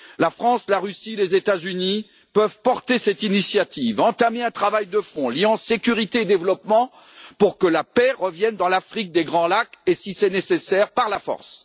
La France, la Russie et les États Unis peuvent porter cette initiative, entamer un travail de fond liant sécurité et développement pour que la paix revienne dans l'Afrique des Grands Lacs, et si c'est nécessaire, l'imposer par la force.